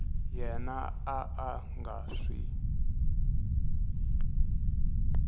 yena a a nga swi